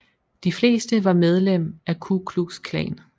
De fleste var medlem af Ku Klux Klan